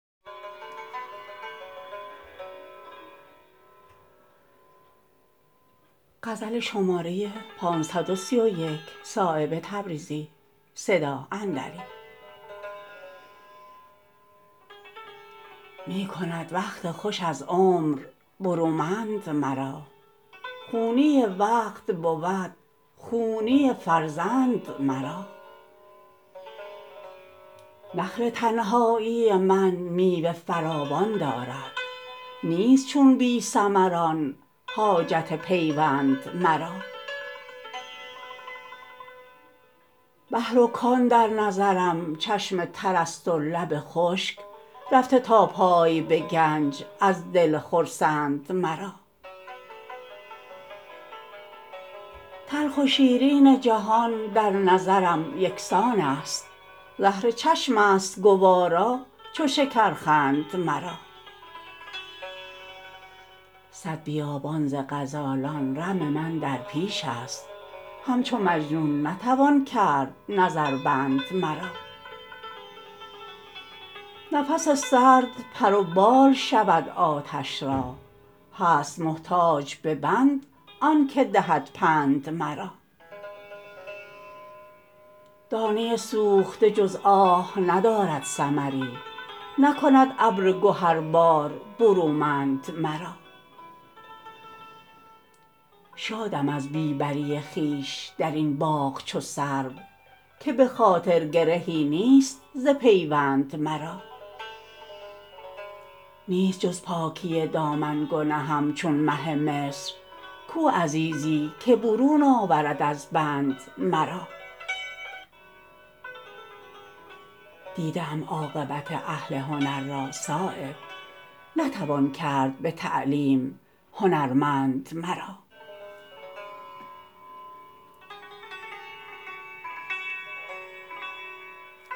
می کند وقت خوش از عمر برومند مرا خونی وقت بود خونی فرزند مرا نخل تنهایی من میوه فراوان دارد نیست چون بی ثمران حاجت پیوند مرا بحر و کان در نظرم چشم ترست و لب خشک رفته تا پای به گنج از دل خرسند مرا تلخ و شیرین جهان در نظرم یکسان است زهرچشم است گوارا چو شکرخند مرا صد بیابان ز غزالان رم من در پیش است همچو مجنون نتوان کرد نظربند مرا نفس سرد پر و بال شود آتش را هست محتاج به بند آن که دهد پند مرا دانه سوخته جز آه ندارد ثمری نکند ابر گهربار برومند مرا شادم از بی بری خویش درین باغ چو سرو که به خاطر گرهی نیست ز پیوند مرا نیست جز پاکی دامن گنهم چون مه مصر کو عزیزی که برون آورد از بند مرا دیده ام عاقبت اهل هنر را صایب نتوان کرد به تعلیم هنرمند مرا